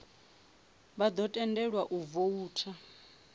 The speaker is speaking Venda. vha ḓo tendelwa u voutha